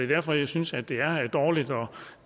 derfor jeg synes at det er dårligt og